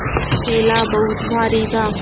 थैला बहुत भारी था